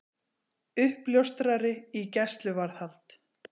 Uppljóstrari í gæsluvarðhald